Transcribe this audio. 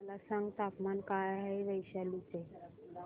मला सांगा तापमान काय आहे वैशाली चे